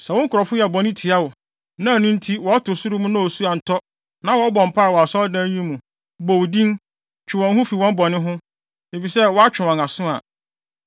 “Sɛ wo nkurɔfo yɛ bɔne tia wo, na ɛno nti wɔto ɔsoro mu na osu antɔ na wɔbɔ mpae wɔ Asɔredan yi mu, bɔ wo din, twe wɔn ho fi wɔn bɔne ho, efisɛ woatwe wɔn aso a,